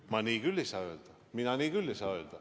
Ma küll ei saa nii öelda!